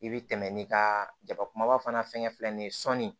I bɛ tɛmɛ n'i ka jabakumaba fana fɛngɛ filɛ nin ye sɔɔni